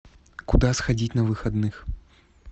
куда сходить на выходных